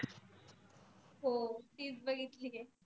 हो तिचं बघितली आहे.